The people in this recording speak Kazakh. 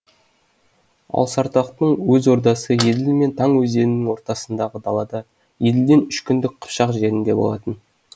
ал сартақтың өз ордасы еділ мен таң өзенінің ортасындағы далада еділден үш күндік қыпшақ жерінде болатын